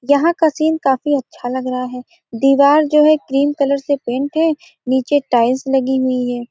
यहाँ एक आदमी नजर आरहा है जो सावले रंग का है यह क्रीम कलर का टी-शर्ट पहना हुआ है।